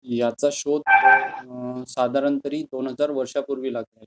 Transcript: ह्याचा शोध साधारणतः दोन हजार वर्षांपूर्वी लागला आहे.